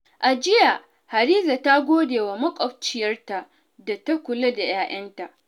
A jiya, Hadiza ta gode wa makwabciyarta da ta kula da 'ya'yanta.